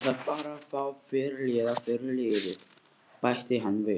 Ég þarf bara að fá fyrirliða fyrir liðið, bætti hann við.